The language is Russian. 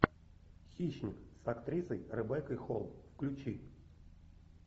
хищник с актрисой ребеккой холл включи